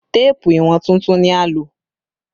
Téèpù ìwọ̀n tuntun ni a lò